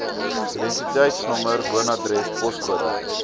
identiteitsnommer woonadres poskode